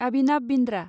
Abhinav Bindra